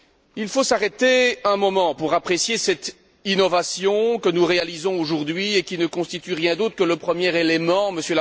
Il faut s'arrêter un moment pour apprécier cette innovation que nous réalisons aujourd'hui et qui ne constitue rien d'autre que le premier élément M.